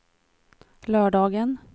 lördagen